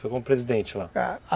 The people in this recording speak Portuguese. Foi como presidente lá?